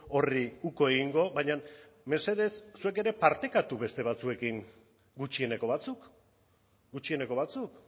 horri uko egingo baina mesedez zuek ere partekatu beste batzuekin gutxieneko batzuk gutxieneko batzuk